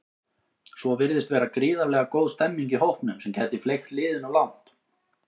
Svo virðist vera gríðarlega góð stemmning í hópnum sem gæti fleygt liðinu langt.